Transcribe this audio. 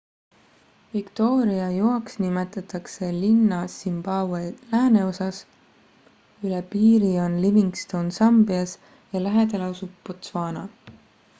victoria joaks nimetatakse linna zimbabwe lääneosas üle piiri on livingstone sambias ja lähedal asub botswana